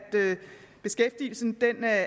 beskæftigelsen